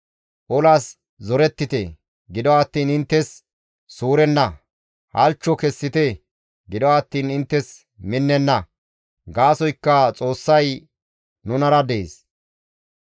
Olas zorettite; gido attiin inttes suurenna; halchcho kessite; gido attiin inttes minnenna. Gaasoykka Xoossay nunara dees.